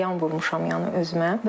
Ziyan vurmuşam yəni özümə.